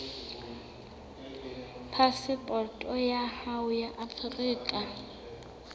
phasepoto ya hao ya afrika